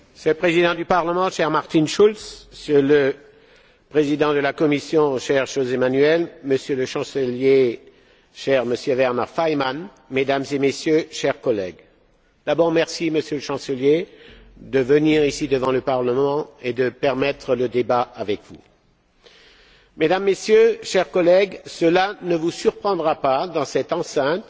Monsieur le Président du Parlement, cher Martin Schulz, Monsieur le Président de la Commission, cher José Manuel, Monsieur le Chancelier, cher Monsieur Werner Faymann, Mesdames et Messieurs, chers collègues, d'abord merci, Monsieur le Chancelier, de venir, ici, devant le Parlement et de nous permettre de débattre avec vous. Mesdames et Messieurs, chers collègues, cela ne vous surprendra pas, dans cette enceinte,